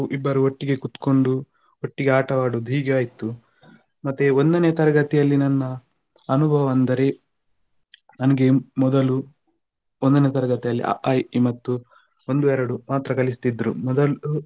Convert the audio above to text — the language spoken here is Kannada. ಇಬ್ಬರು ಒಟ್ಟಿಗೆ ಕುತ್ಕೊಂಡು ಒಟ್ಟಿಗೆ ಆಟವಾಡುದು ಹೀಗೆ ಆಯ್ತು ಮತ್ತೆ ಒಂದನೇ ತರಗತಿಯಲ್ಲಿ ನನ್ನ ಅನುಭವ ಅಂದರೆ ನನಗೆ ಮೊದಲು ಒಂದನೇ ತರಗತಿಯಲ್ಲಿ ಅ ಆ ಇ ಈ ಮತ್ತು ಒಂದು ಎರಡು ಮಾತ್ರ ಕಲಿಸ್ತಿದ್ರು ಮೊದಲು